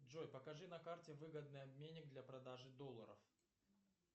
джой покажи на карте выгодный обменник для продажи долларов